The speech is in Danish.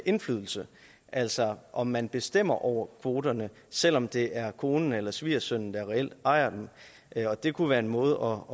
indflydelse altså om man bestemmer over kvoterne selv om det er konen eller svigersønnen der reelt ejer dem det kunne være en måde